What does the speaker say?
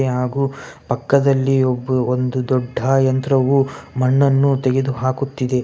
ಹಾಗು ಪಕ್ಕದಲ್ಲಿ ಒಬ್ಬು ಒಂದು ದೊಡ್ಡ ಯಂತ್ರವು ಮಣ್ಣನ್ನು ತೆಗೆದು ಹಾಕುತ್ತಿದೆ .